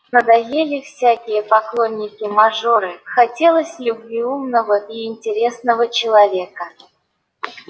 надоели всякие поклонники-мажоры хотелось любви умного и интересного человека